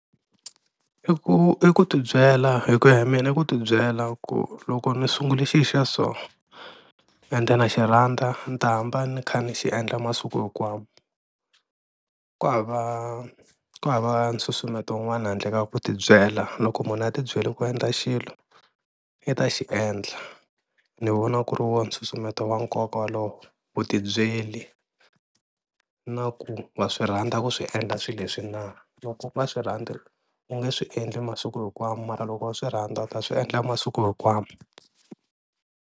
I ku i ku ti byela hi ku ya hi mina i ku ti byela ku loko ni sungule xi xa so ende na xi rhandza ni ta hamba ni kha ni xi endla masiku hinkwawo ku hava ku hava nsusumeto un'wana handle ka ku tibyela, loko munhu a tibyele ku endla xilo i ta xi endla ni vona ku ri woho nsusumeto wa nkoka wolowo, vutibyeli na ku wa swi rhandza ku swi endla swilo leswi na, loko unga swi rhandzi u nge swi endli masiku hinkwawo mara loko u swi rhandza u ta swi endla masiku hinkwawo.